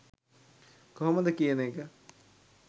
කොහොමද කියන එක.